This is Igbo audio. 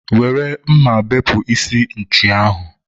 were mma bepụ isi nchi ahụ!